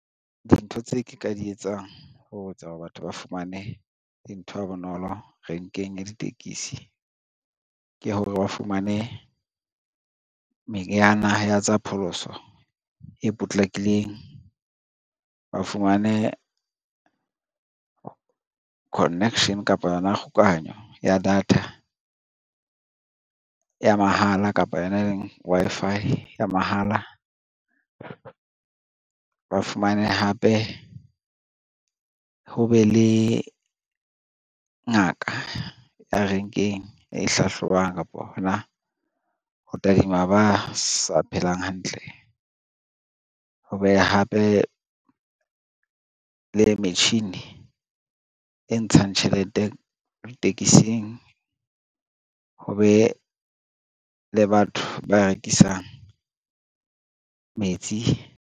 Dintho tse ke ka di etsang ho etsa hore batho ba fumane dintho ha bonolo renkeng ya ditekesi ke hore, ba fumane meriana ya tsa pholoso e potlakileng, ba fumane connection kapa yona kgokahanyo ya data ya mahala kapa yona e leng Wi-Fi ya mahala. Ba fumane hape ho be le ngaka ya renkeng e hlahlobang kapa hona ho tadima ba sa phelang hantle, ho be hape le metjhini e ntshang tjhelete ditekesing, ho be le batho ba rekisang metsi.